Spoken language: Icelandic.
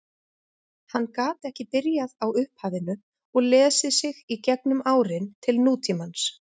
Hann gat ekki byrjað á upphafinu og lesið sig í gegnum árin til nútímans.